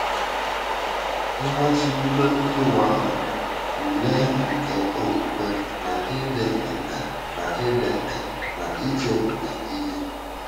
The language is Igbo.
Mmachibido Iwu Ahụ — Ule nke Okwukwe na Ịdị Nkà na Ịdị Nkà n’Ichepụta Ihe